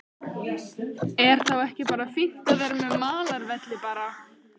Er þá ekki bara fínt að vera með malarvelli bara?